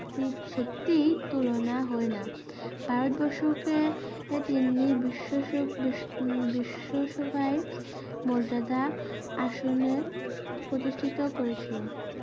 তি সত্যি তুলনা হয় না ভারতবর্ষকে তিনি বিশ্ব~শ বিশ্ব উ~বিশ্বসভায় মর্যাদা আসনে প্রতিষ্ঠিত করেছিল